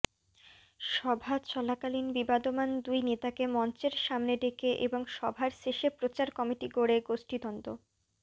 সভা চলাকালীন বিবাদমান দুই নেতাকে মঞ্চের সামনে ডেকে এবং সভার শেষে প্রচার কমিটি গড়ে গোষ্ঠীদ্বন্দ্ব